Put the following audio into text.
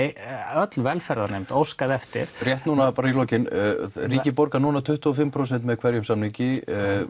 öll velferðarnefnd óskaði eftir rétt núna í lokin ríkið borgar núna tuttugu og fimm prósent með hverjum samningi